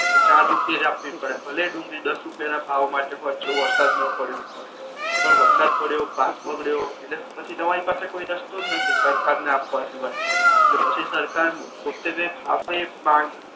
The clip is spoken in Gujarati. ચાર રૂપિયે જ આપવી પડે ભલે ને ડુંગળી દશ રૂપિયા ના ભાવ મા કે જોવો જો વરસાદ ના પડ્યો હોય પણ વરસાદ પડયો પાક બગડ્યો એટલે પછી તમારી પાસે કોઈ રસ્તો જ નથી સરકાર ને આપવા સિવાય અને પછી સરકાર પોતે જે ફાવે